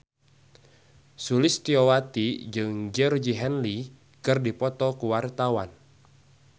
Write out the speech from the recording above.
Sulistyowati jeung Georgie Henley keur dipoto ku wartawan